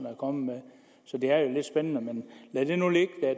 er kommet med så det er jo lidt spændende men lad det nu ligge